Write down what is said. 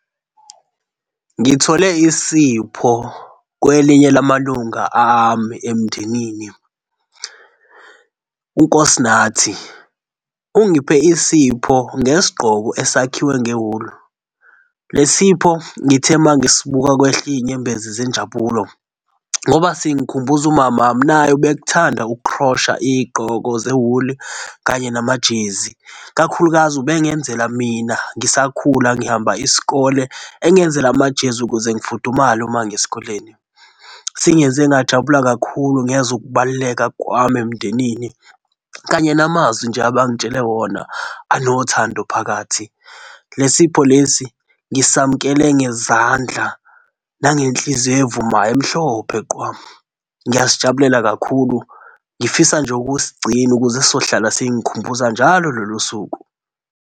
Ngithole isipho kwelinye lamalunga ami emndenini, uNkosinathi ungiphe isipho ngesigqoko esakhiwe ngewulu. Le sipho ngithe uma ngisibuka kwehla izinyembezi zenjabulo ngoba singikhumbuza umamami naye ubekuthanda ukukhrosha izigqoko ze-wool kanye namajezi, kakhulukazi ube ngenzela mina ngisakhula, ngihamba isikole, engenzela amajezi ukuze ngifudumale uma ngiyesikoleni. Singenze ngajabula kakhulu ngezwa ukubaluleka kwami emndenini kanye namazwi nje abangitshele wona anothando phakathi. Le sipho lesi ngisamkele ngezandla nangenhliziyo evumayo, emhlophe qwa. Ngiyasijabulela kakhulu, ngifisa nje ukusigcina, ukuze sizohlala singikhumbuza njalo lolu suku.